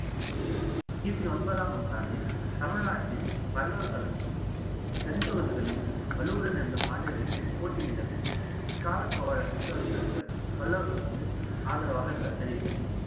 கிபி ஒன்பதாம் நூற்றாண்டில் தமிழ்நாட்டில் பல்லவர்களுக்கும் தென் பகுதிகளில் வலுவுடன் இருந்த பாண்டியர்களும் போட்டி நிலவுகிறது இக்கால சோழ சிற்றசர்கள் பல்லவர்களுக்கு ஆதரவாக இருந்ததாக தெரிகிறது